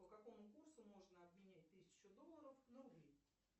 по какому курсу можно обменять тысячу долларов на рубли